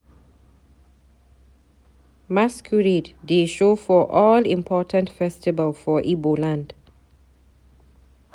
Masqurade dey show for all important festival for Ibo land.